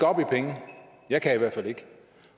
op i penge jeg kan i hvert fald ikke